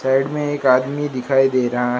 side में एक आदमी दिखाई दे रहा--